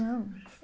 anos!